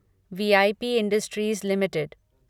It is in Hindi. we I P industries limited